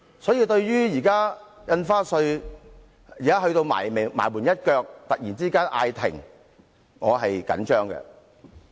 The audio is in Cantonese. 所以，對於《2017年印花稅條例草案》在臨門一腳突然被叫停，我表示關注。